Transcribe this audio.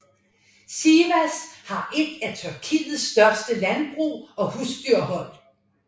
Sivas har et af Tyrkiets største landbrug og husdyrhold